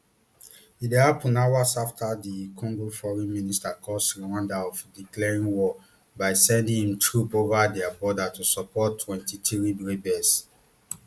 e dey happun hours afta dr congo foreign minister accuse rwanda of declaring war by sending im troops over dia border to support mtwenty-three rebels